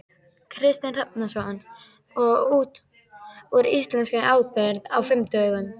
Kristinn Hrafnsson: Og út úr íslenskri ábyrgð á fimm dögum?